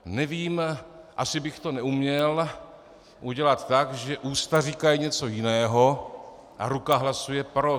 Nevím, asi bych to neuměl udělat tak, že ústa říkají něco jiného a ruka hlasuje pro.